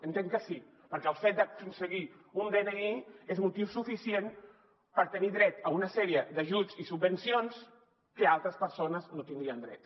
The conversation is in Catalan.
entenc que sí perquè el fet d’aconseguir un dni és motiu suficient per tenir dret a una sèrie d’ajuts i subvencions a que altres persones no tindrien dret